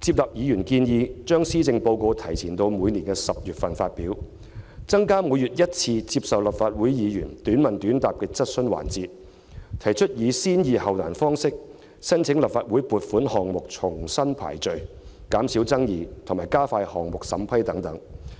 接納議員建議，把施政報告提前到每年10月發表；增加每月一次接受立法會議員"短問短答"的質詢環節；及提出以"先易後難"方式將申請立法會撥款項目重新排序，以減少爭議及加快項目審批等。